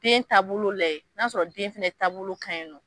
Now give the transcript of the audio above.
Den taabolo lajɛ n'a y'a sɔrɔ den fɛnɛ taabolo ka ɲi nɔ.